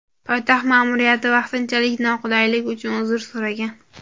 Poytaxt ma’muriyati vaqtinchalik noqulaylik uchun uzr so‘ragan.